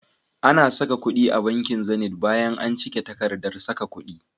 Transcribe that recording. Ana saka kudi a banki Zenith bayan an cike takardar saka kudi.